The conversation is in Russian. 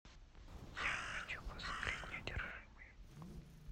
я хочу посмотреть неудержимые